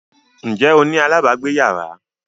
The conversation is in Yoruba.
Ǹjẹ́ o ní alábàágbéyàrá?